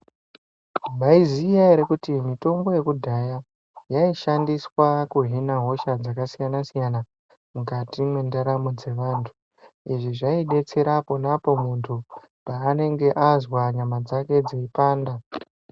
Mwaiziya ere kuti mitombo yekudhaya yaishandiswa kuhine hosha dzakasiyana siyana mukati mwendaramo dzevantu. Izvi zvaidetsera ponapo muntu paanenge azwa nyama dzake dzeipanda.